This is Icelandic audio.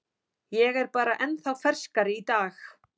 Ég er bara ennþá ferskari í dag.